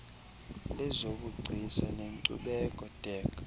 lezobugcisa nenkcubeko dac